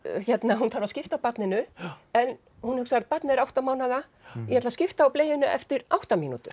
hún þarf að skipta á barninu en hún hugsar barnið er átta mánaða ég ætla að skipta á bleyjunni eftir átta mínútur